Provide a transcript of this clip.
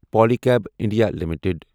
Pali cab India limited